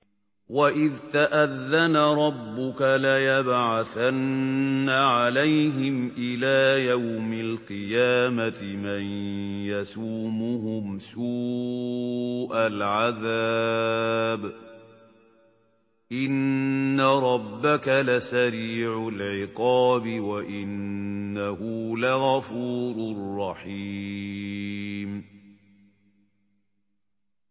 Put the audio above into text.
وَإِذْ تَأَذَّنَ رَبُّكَ لَيَبْعَثَنَّ عَلَيْهِمْ إِلَىٰ يَوْمِ الْقِيَامَةِ مَن يَسُومُهُمْ سُوءَ الْعَذَابِ ۗ إِنَّ رَبَّكَ لَسَرِيعُ الْعِقَابِ ۖ وَإِنَّهُ لَغَفُورٌ رَّحِيمٌ